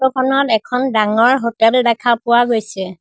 Photo খনত এখন ডাঙৰ হোটেল দেখা পোৱা গৈছে।